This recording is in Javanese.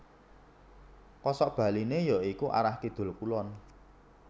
Kosok baliné ya iku arah Kidul Kulon